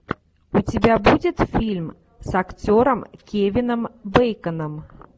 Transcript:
у тебя будет фильм с актером кевином бейконом